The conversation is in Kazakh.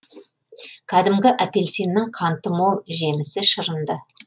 кәдімгі апельсиннің қанты мол жемісі шырынды